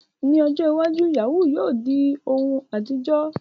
Ní ọjọ́ iwájú, yahoo yahoo yóò di ohun àtijọ́.